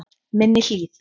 Minni Hlíð